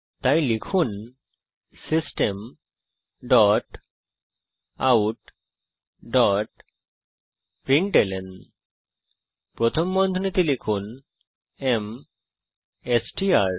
তাই লিখুন system dot out dot println প্রথম বন্ধনীতে লিখুন এমএসটিআর